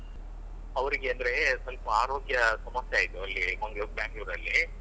ಅವ್ರಿಗೆ ಅಂದ್ರೇ ಸ್ವಲ್ಪ ಆರೋಗ್ಯ ಸಮಸ್ಯೆ ಆಯ್ತು ಅಲ್ಲಿ ಮಂಗ್ಳೂರ್ ಬ್ಯಾಂಗ್ಳೂರಲ್ಲೀ.